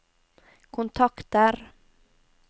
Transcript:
kontakter